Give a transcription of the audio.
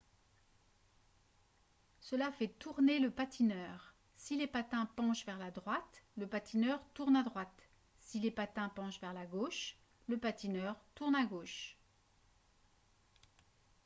cela fait tourner le patineur si les patins penchent vers la droite le patineur tourne à droite si les patins penchent vers la gauche le patineur tourne à gauche